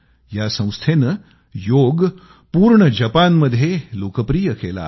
या संस्थेनं योग पूर्ण जपानमध्ये लोकप्रिय बनवला आहे